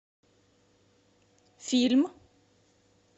фильм